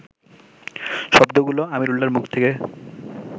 শব্দগুলো আমিরুল্লাহর মুখ থেকে